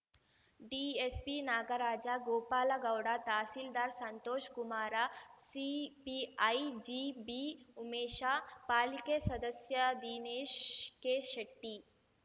DSP Nagaraja Gopala Gowda tahsildar Santoshkumar CPI G B Umesha ಪಾಲಿಕೆ ಸದಸ್ಯ ದಿನೇಶ್ ಕೆಶೆಟ್ಟಿ